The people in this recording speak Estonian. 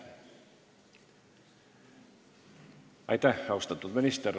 Aitäh, austatud minister!